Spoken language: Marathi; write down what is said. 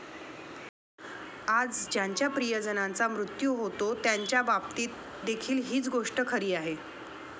आज ज्यांच्या प्रिय जनांचा मृत्यू होतो त्यांच्याबाबतीत देखील हीच गोष्ट खरी आहे.